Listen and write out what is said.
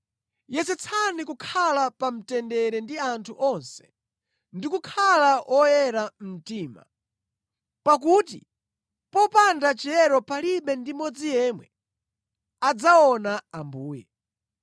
Yesetsani kukhala pa mtendere ndi anthu onse ndi kukhala oyera mtima, pakuti popanda chiyero palibe ndi mmodzi yemwe adzaona Ambuye.